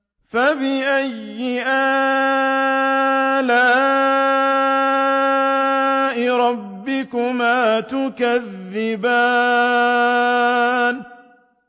فَبِأَيِّ آلَاءِ رَبِّكُمَا تُكَذِّبَانِ